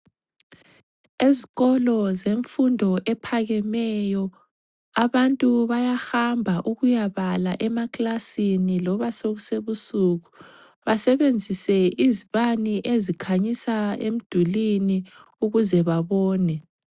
Ezikolo zemfundo ephakameyo, abantu bayahamba ukuyabala emaklasini loba kusebusuku, basebenzise izibane ezikhanyisa emdulwini ukuze babone.